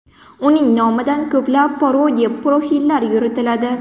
Uning nomidan ko‘plab parodiya profillar yuritiladi.